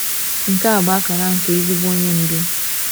Nke a bụ akara nke ezigbo onye ndu.